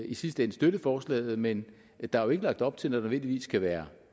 i sidste ende støtte forslaget men der er jo ikke lagt op til nødvendigvis skal være